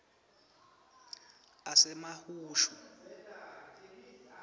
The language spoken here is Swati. asasemahushu